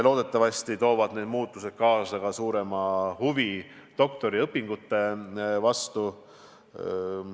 Loodetavasti toovad need muutused kaasa ka suurema huvi doktoriõpingute vastu.